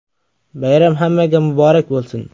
Bayram hammaga muborak bo‘lsin!